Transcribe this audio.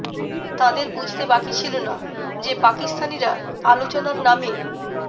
তাঁদের বুঝতে বাকি ছিল না যে পাকিস্তানিরা আলোচনার নামে